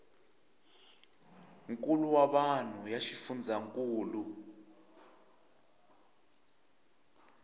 nkulo wa vanhu ya xifundzhankulu